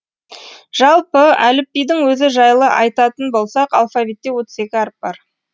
жалпы әліпбидің өзі жайлы айтатын болсақ алфавитте отыз екі әріп бар